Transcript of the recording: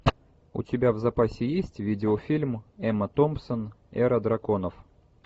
у тебя в запасе есть видеофильм эмма томпсон эра драконов